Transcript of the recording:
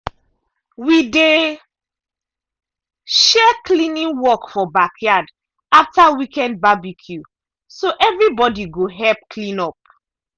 we dey share cleaning work for backyard after weekend barbecue so everybody go help clean up.